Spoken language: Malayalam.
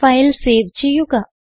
ഫയൽ സേവ് ചെയ്യുക